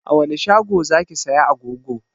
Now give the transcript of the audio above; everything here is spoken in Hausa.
A wani shago zaki saya agogo?